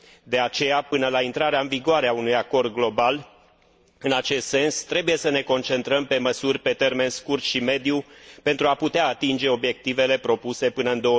De aceea, până la intrarea în vigoare a unui acord global în acest sens, trebuie să ne concentrăm pe măsuri pe termen scurt și mediu, pentru a putea atinge obiectivele propuse până în